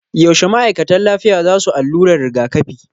Yaushe ma'aikatan lafiya za su allurar rigakafi?